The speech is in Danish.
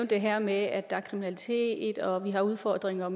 det her med at der er kriminalitet og at vi har udfordringer